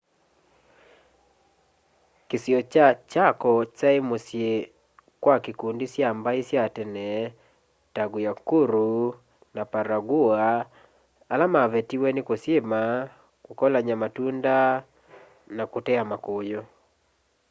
kisio kya chaco kyae musyi kwa ikundi sya mbai sya tene ta guaycuru na payagua ala mavetiwe ni kusyima kukolanya matunda na kutea makuyu